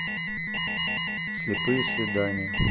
слепые свидания